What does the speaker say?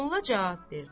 Molla cavab verdi.